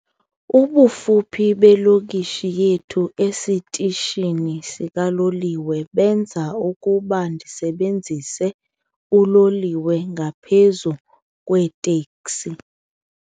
Ubufuphi belokishi yethu esitishini sikaloliwe benza ukuba ndisebenzise uloliwe ngaphezu kweeteksi.